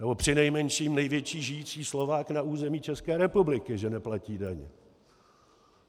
Nebo přinejmenším největší žijící Slovák na území České republiky že neplatí daně.